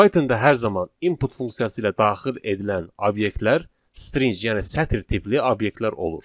Python-da hər zaman input funksiyası ilə daxil edilən obyektlər string, yəni sətir tipli obyektlər olur.